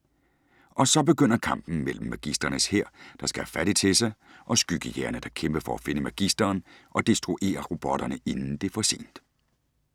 Og så begynder kampen mellem Magisterens hær, der skal have fat i Tessa, og skyggejægerne, der kæmper for at finde Magisteren og destruere robotterne inden det er for sent.